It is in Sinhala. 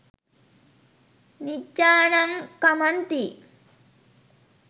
නිජ්ඣානං ඛමන්ති.